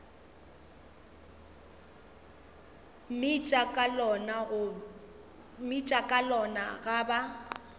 mmitša ka lona ga ba